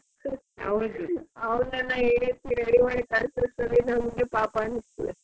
ಅವರ್ನೆಲ್ಲ ಏಳ್ಸಿ ready ಮಾಡಿ ಕಲಸೋ ಅಷ್ಟರಲ್ಲಿ ನಮ್ಗೆ ಪಾಪ ಅನಿಸ್ತದೆ.